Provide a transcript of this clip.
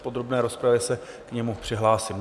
V podrobné rozpravě se k němu přihlásím.